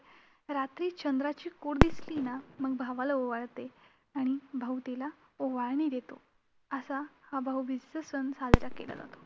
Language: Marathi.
रात्री चंद्राची कोर दिसली ना, मग भावाला ओवाळते आणि भाऊ तिला ओवाळणी देतो असा हा भाऊबीजेचा सण साजरा केला जातो.